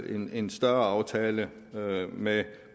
en større aftale med